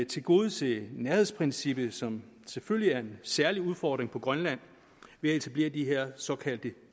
tilgodese nærhedsprincippet som selvfølgelig er en særlig udfordring på grønland ved at etablere de her såkaldte